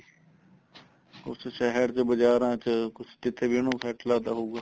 ਕੁੱਝ ਸ਼ਹਿਰ ਚ ਬਜਾਰਾ ਚ ਕੁੱਝ ਕੀਤੇ ਵੀ ਉਹਨੂੰ set ਲੱਗਦਾ ਹੋਊਗਾ